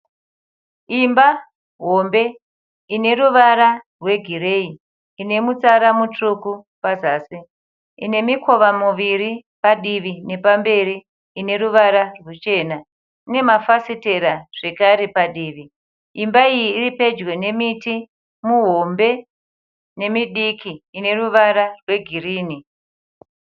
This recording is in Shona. Imba hombe ine ruvara rwegireyi, ine mutsara mutsvuku pazasi, ine mikova miviri padivi nepamberi ine ruvara rwuchena, ine mafafitera zvekare padivi. Imba iyi iri pedyo nemiti muhombe nemidiki ine ruvara rwegirini.